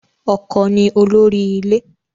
Ọkọ ni olórí ilé